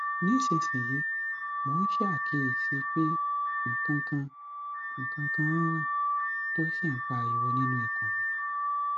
nísinsìnyí mò ń ṣaàkíyèsí pé nǹkankan nǹkankan nń riìn tó sì ń pariwo niínú ikùn mi